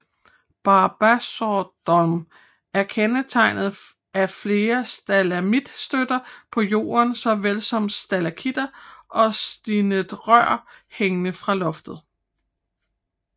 Barbarossadom er kendetegnet af flere stalagmitstøtter på jorden såvel som stalaktitter og sinterrør hængende fra loftet